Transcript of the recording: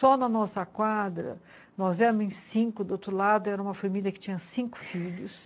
Só na nossa quadra, nós éramos cinco, do outro lado era uma família que tinha cinco filhos